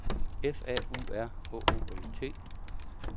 F A U R H O L T